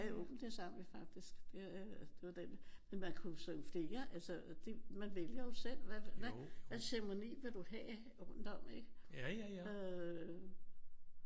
Ja jo men det sang vi faktisk. Det var den men man kunne jo synge flere altså man vælger jo selv hvad hvad ceremoni vil du have rundt om øh